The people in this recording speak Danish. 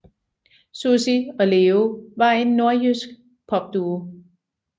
Sussi og Leo var en nordjysk popduo